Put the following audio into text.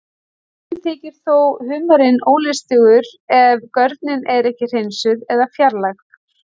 Sumum þykir þó humarinn ólystugur ef görnin er ekki hreinsuð eða fjarlægð.